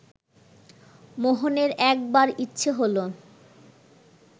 মোহনের একবার ইচ্ছে হলো